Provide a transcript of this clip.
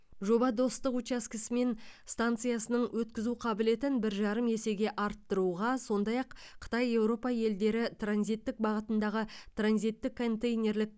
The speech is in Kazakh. жоба достық учаскесі мен станциясының өткізу қабілетін бір жарым есеге арттыруға сондай ақ қытай еуропа елдері транзиттік бағытындағы транзиттік контейнерлік